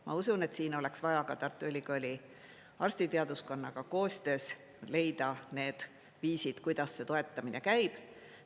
Ma usun, et siin oleks vaja ka Tartu Ülikooli arstiteaduskonnaga koostöös leida need viisid, kuidas see toetamine käib.